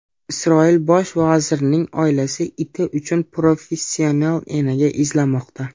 Isroil bosh vazirining oilasi iti uchun professional enaga izlamoqda.